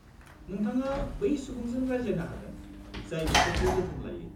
नोंथाङा बै सुबुंजों रायज्लायनो हागोन, जाय बिसोरखौ जोथोन लायो।